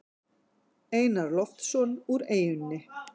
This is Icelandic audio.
Einar Loftsson úr eyjunni.